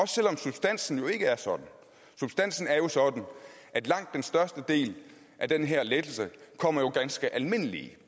selv om substansen jo ikke er sådan substansen er jo sådan at langt den største del af den her lettelse kommer ganske almindelige